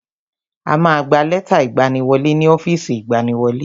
A ma gba lẹ́tà ìgbaniwọlé ni ọ́fìsì ìgbaniwọlé.